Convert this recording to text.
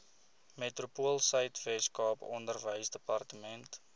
metropoolsuid weskaap onderwysdepartement